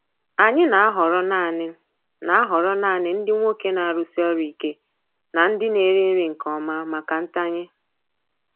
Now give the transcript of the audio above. Anyị na-ahọrọ naanị na-ahọrọ naanị ndị nwoke na-arụsi ọrụ ike na ndị na-eri nri nke ọma maka ntanye.